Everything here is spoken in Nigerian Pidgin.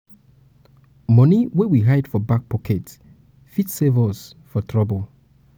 money wey we hide for back pocket fit save us fit save us for trouble.